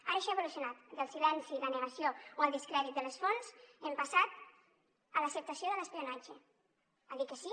ara això ha evolucionat del silenci i la negació o el descrèdit de les fonts hem passat a l’acceptació de l’espionatge a dir que sí